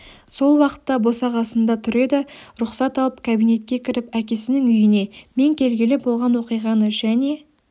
сол уақытта босағасында тұр еді рұқсат алып кабинетке кіріп әкесінің үйіне мен келгелі болған оқиғаны және